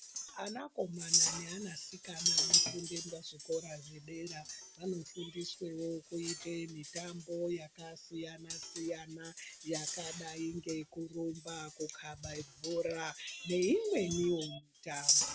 Anakomana neanasikana anofunde pazvikora zvedera, vanofundiswewo kuite mitambo yakasiyana-siyana yakadai ngekurumba, kukaba bhora neimweniwo mitambo.